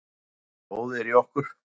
Hversu mikið blóð er í okkur?